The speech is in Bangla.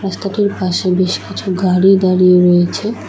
রাস্তাটির পাশে বেশ কিছু গাড়ি দাঁড়িয়ে রয়েছে।